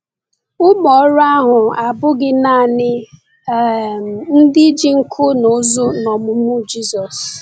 Ụmụ ọrụ ahụ abụghị naanị um ndị ji nku n’ụzụ n’ọmụmụ Jésù.